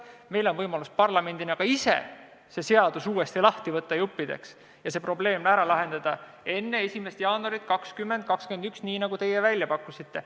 Meil on parlamendina võimalik ka ise see seadus uuesti lahti võtta ja see probleem ära lahendada enne 1. jaanuari 2021, nagu teie välja pakkusite.